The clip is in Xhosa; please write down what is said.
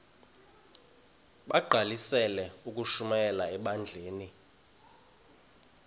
bagqalisele ukushumayela ebandleni